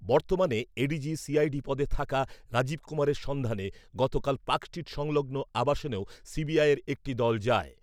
বর্তমানে ADG CID পদে থাকা রাজীব কুমারের সন্ধানে গতকাল পার্ক স্ট্রীট সংলগ্ন আবাসনেও সিবিআইয়ের একটি দল যায় ।